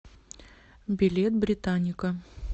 билет британника